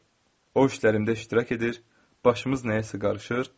O işlərimdə iştirak edir, başımız nəyəsə qarışır.